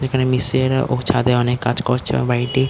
যেখানে মিস্ত্রিরা ও ছাদে অনেক কাজ করছে এবং বাড়িটি --